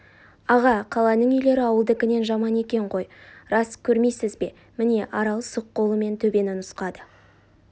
аға қаланың үйлері ауылдыкінен жаман екен қой рас көрмейсіз бе міне арал сұқ қолымен төбені нұсқады